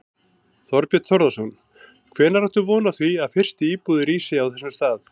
Þorbjörn Þórðarson: Hvenær áttu von á því að fyrstu íbúðir rísi á þessum stað?